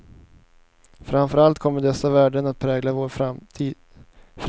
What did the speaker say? Framför allt kommer dessa värden att prägla vår fritid, eftersom den är lättare att påverka än arbetets villkor.